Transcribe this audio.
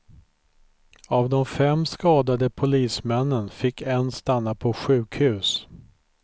Av de fem skadade polismännen fick en stanna på sjukhus.